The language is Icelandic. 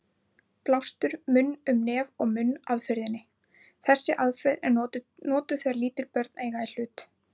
Blástur munn-um-nef-og-munn aðferðinni: Þessi aðferð er notuð þegar lítil börn eiga í hlut.